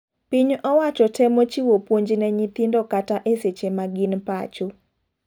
Piny owacho temo chiwo puonj ne nyithindo kata e seche ma gin pacho.